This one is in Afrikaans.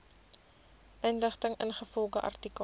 inligting ingevolge artikel